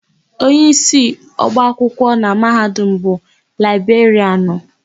Onyeisi ọba akwụkwọ na Mahadum bụ Laịberịanụ.